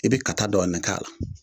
I bi kata dɔɔnin k'a la